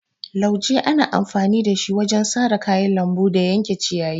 Lauje ana amfani da shi wajen sare kayan lambu da yanke ciyayi.